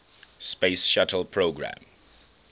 space shuttle program